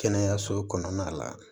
Kɛnɛyaso kɔnɔna la